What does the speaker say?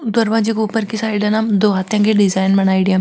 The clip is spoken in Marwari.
दरवाजे के ऊपर की साईड हैना दो हाथीया की डिजाइन बनाईडी है।